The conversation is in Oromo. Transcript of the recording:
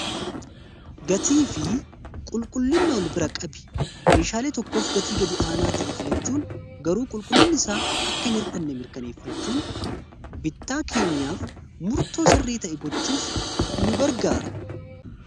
gatii fi qulqullinna ol bira qabi meeshaalee tokkoof gatii gad aanaa ta'e filachuun garuu qulqullinn isaa akkain irdhanne mirkaneeffachuun bittaa keenyaaf murtoo sirrei ta'e gochuuf nu gargaara